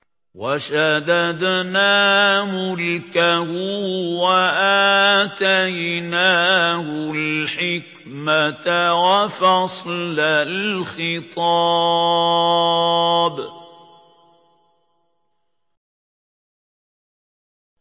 وَشَدَدْنَا مُلْكَهُ وَآتَيْنَاهُ الْحِكْمَةَ وَفَصْلَ الْخِطَابِ